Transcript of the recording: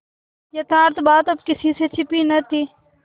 यथार्थ बात अब किसी से छिपी न थी